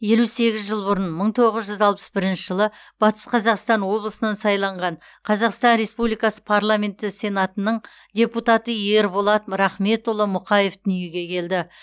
елу сегіз жыл бұрын мың тоғыз жүз алпыс бірінші жылы батыс қазақстан облысынан сайланған қазақстан республикасы парламенті сенатының депутаты ерболат рахметұлы мұқаев дүниеге келді